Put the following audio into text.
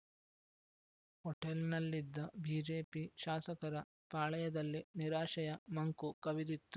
ಹೋಟೆಲ್‌ನಲ್ಲಿದ್ದ BJP ಶಾಸಕರ ಪಾಳೆಯದಲ್ಲಿ ನಿರಾಶೆಯ ಮಂಕು ಕವಿದಿತ್ತು